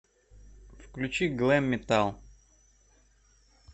включи глэм метал